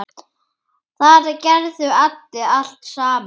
Þar gerðu allir allt saman.